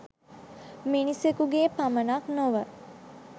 මිනිසකුගේ පමණක් නොව